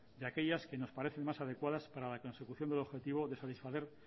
de aquellas que nos parecen más adecuadas para la consecución del objetivo de satisfacer